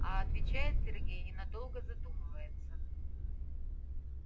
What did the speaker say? а отвечает сергей и надолго задумывается